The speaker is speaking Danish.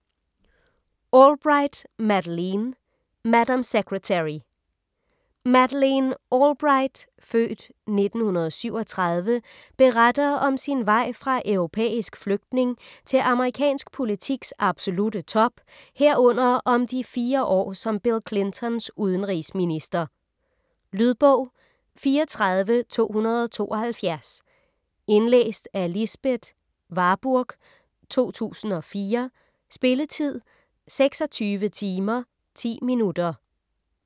Albright, Madeleine: Madam Secretary Madeleine Albright (f. 1937) beretter om sin vej fra europæisk flygtning til amerikansk politiks absolutte top, herunder om de fire år som Bill Clintons udenrigsminister. Lydbog 34272 Indlæst af Lisbeth Warburg, 2004. Spilletid: 26 timer, 10 minutter.